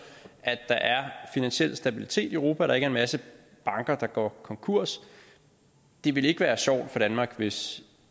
at der er finansiel stabilitet i europa og er en masse banker der går konkurs det ville ikke være sjovt for danmark hvis